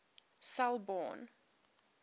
selborne